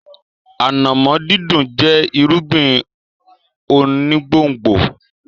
Ànàmọ́ dídùn jẹ́ irúgbìn onígbòǹgbò.